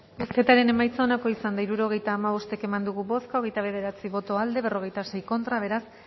bozketaren emaitza onako izan da hirurogeita hamabost eman dugu bozka hogeita bederatzi boto aldekoa cuarenta y seis contra beraz